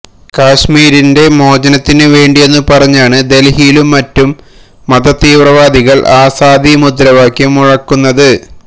കശ്മീരിന്റെ മോചനത്തിനുവേണ്ടിയെന്നു പറഞ്ഞാണ് ദല്ഹിയിലും മറ്റും മതതീവ്രവാദികള് ആസാദി മുദ്രാവാക്യം മുഴക്കുന്നത്